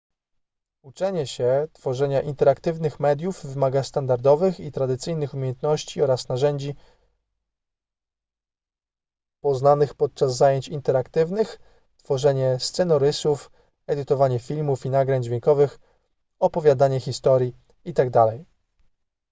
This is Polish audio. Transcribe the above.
uczenie się tworzenia interaktywnych mediów wymaga standardowych i tradycyjnych umiejętności oraz narzędzi poznanych podczas zajęć interaktywnych tworzenie scenorysów edytowanie filmów i nagrań dźwiękowych opowiadanie historii itd..